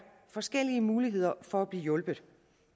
forskellige muligheder for at blive hjulpet